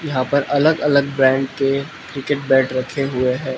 यहां पर अलग अलग ब्रांड के क्रिकेट बैट रखे हुए है।